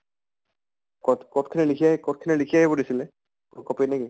code code খিনি লিখি code খিনি লিখি আহিব দিছিলে? কʼত copy ত নেকি?